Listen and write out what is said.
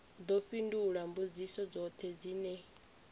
ḓo fhindula mbudziso dzoṱhe dzine